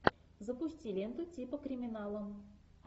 запусти ленту типа криминала